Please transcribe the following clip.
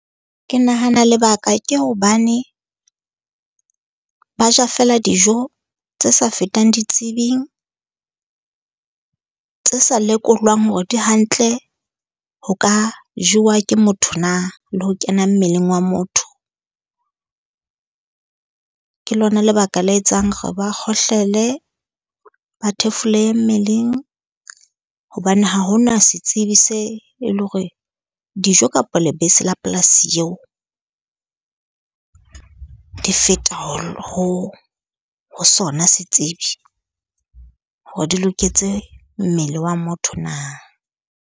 Ke nahana lebaka ke hobane ba ja fela dijo tse sa fetang ditsebing, tse sa lekolwang hore di hantle ho ka jowa ke motho na, le ho kena mmeleng wa motho. Ke lona lebaka le etsang hore ba kgohlele, ba thefulehe mmeleng. Hobane ha ho na setsebi se e le hore dijo kapa lebese la polasi eo di feta ho sona setsebi, hore di loketse mmele wa motho na.